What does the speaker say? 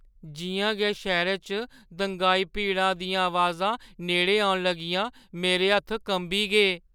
जिʼयां गै शैह्‌रै च दंगाई भीड़ा दियां अबाजां नेड़ै औन लगियां, मेरे हत्थ कंबी गे।